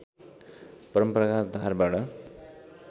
परम्परागत धारबाट